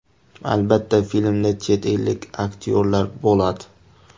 Albatta, filmda chet ellik aktyorlar bo‘ladi.